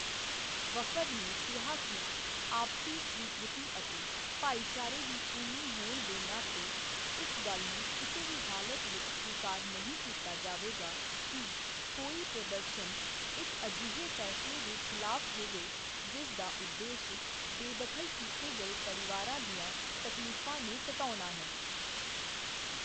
ਵਫ਼ਦ ਨੇ ਕਿਹਾ ਕਿ ਆਪਸੀ ਸਵੀਕ੍ਰਿਤੀ ਅਤੇ ਭਾਈਚਾਰੇ ਦੀ ਭੂਮੀ ਹੋਣ ਦੇ ਨਾਤੇ ਇਸ ਗੱਲ ਨੂੰ ਕਿਸੇ ਵੀ ਹਾਲਤ ਵਿੱਚ ਸਵੀਕਾਰ ਨਹੀਂ ਕੀਤਾ ਜਾਵੇਗਾ ਕਿ ਕੋਈ ਪ੍ਰਦਰਸ਼ਨ ਇੱਕ ਅਜਿਹੇ ਫੈਸਲੇ ਦੇ ਖਿਲਾਫ ਹੋਵੇ ਜਿਸ ਦਾ ਉਦੇਸ਼ ਬੇਦਖ਼ਲ ਕੀਤੇ ਗਏ ਪਰਿਵਾਰਾਂ ਦੀਆਂ ਤਕਲੀਫਾਂ ਨੂੰ ਘਟਾਉਣਾ ਹੈ।